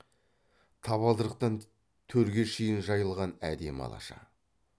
табалдырықтан төрге шейін жайылған әдемі алаша